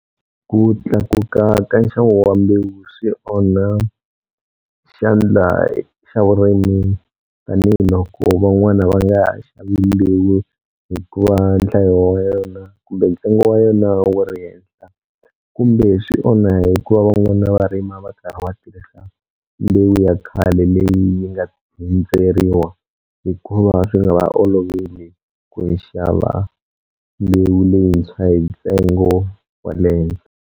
Ku tlakuka ka nxavo wa mbewu swi onha xandla xa vurimi tanihiloko van'wana va nga ha xavi leyi hikuva nhlayo wa yona kumbe ntsengo wa yona wu ri henhla kumbe swi onha hikuva van'wana va rima va karhi va tirhisa leyi ya khale leyi yi nga hundzeriwa hikuva swi nge va oloveli ku yi xava mbewu leyintshwa hi ntsengo wa le henhla.